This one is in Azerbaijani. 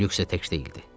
Lük isə tək deyildi.